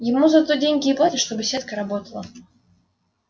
ему за то деньги и платят чтобы сетка работала